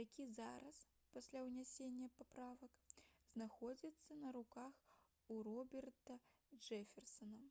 які зараз пасля ўнясення паправак знаходзіцца на руках у роберта джэферсана